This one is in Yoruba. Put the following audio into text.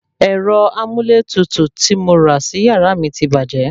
Ērọ amúlétutù tí mo rà sí yàrá mi ti bàjẹ́